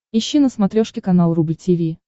ищи на смотрешке канал рубль ти ви